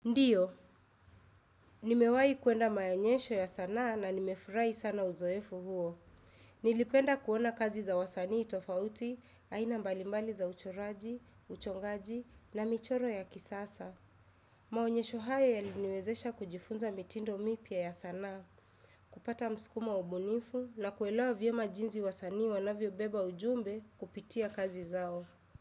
Ndiyo, nimewai kuenda maonyesho ya sana na nimefurai sana uzoefu huo. Nilipenda kuona kazi za wasanii tofauti, aina mbalimbali za uchoraji, uchongaji na michoro ya kisasa. Maonyesho hayo yaliniwezesha kujifunza mitindo mipya ya sanaa, kupata msukumo ubunifu na kuelawa vyema jinzi wasanii wanavyo beba ujumbe kupitia kazi zao.